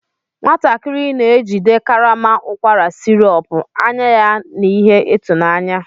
Nwatakịrị na-ejide karama ụkwara sirop, anya ya na ihe ịtụnanya.